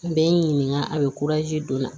N bɛ n ɲininka a bɛ don na